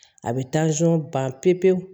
A bɛ ban pewu pewu